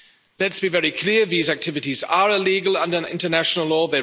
Let's be very clear, these activities are illegal under international law.